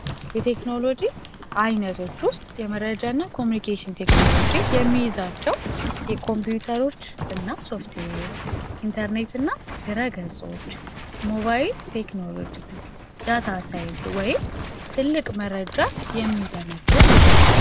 የቴክኖሎጂ አይነቶች ውስጥ የመረጃ እና ኮሚኒኬሽን ቴክኖሎጅ የሚይዛቸው የኮምፒዩተሮች እና ሶፍትዌይ ኢንተርኔት እና ድረገጸዎች ሞባይል ቴክኖሎጂ ዳt ሳይንስ ወይም ትልቅ መረጃ የሚተነትን ናቸው፡፡